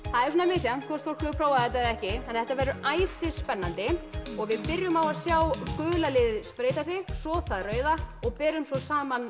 er misjafnt hvort fólk hefur prófað þetta eða ekki þetta verður æsispennandi og við byrjum á að sjá gula liðið spreyta sig svo það rauða og berum svo saman